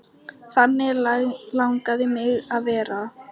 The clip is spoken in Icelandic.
Þannig langaði mig að verða.